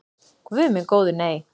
Guð minn góður nei.